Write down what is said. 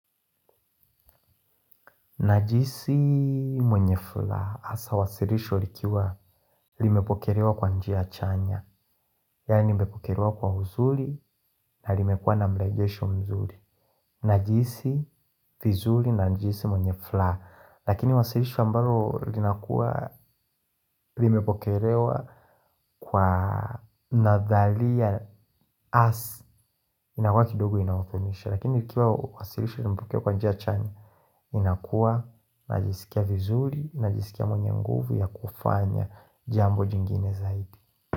Najihisi mwenye furaha, hasa wasilisho likiwa limepokelewa kwa njia chanya. Yaani limepokelewa kwa uzuri na limekuwa na mrejesho mzuri. Najihisi vizuri na najihisi mwenye furaha. Lakini wasilisho ambalo linakuwa limepokelewa kwa nadhalia hasa. Inakuwa kidogo inahuzunisha. Lakini ikiwa wasilisho limepokelewa kwa njia chanya inakuwa, najisikia vizuri, najisikia mwenye nguvu ya kufanya jambo jingine zaidi.